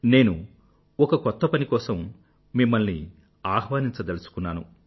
నేను ఒక కొత్త పని కోసం మిమ్మల్ని ఆహ్వానించదలుచుకున్నాను